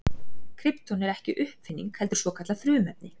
Krypton er ekki uppfinning heldur svokallað frumefni.